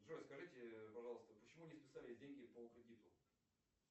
джой скажите пожалуйста почему не списались деньги по кредиту